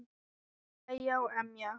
Hlæja og emja.